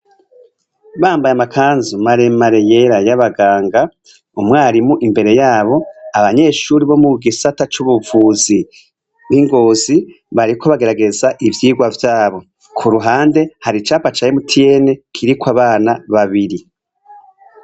Bambaye amakanzu maremareyera y'abaganga, umwarimu imbere yabo, abanyeshuri bo mu gisata c'ubuvuzi b'i Ngozi, bariko bagerageza ivyigwa vyabo. Ku ruhande, hari icapa ca MTN kiriko abana babiri.